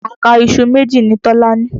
Àká iṣu méjì ni Tọlá ní.